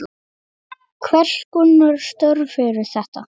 Hvers konar störf eru þetta?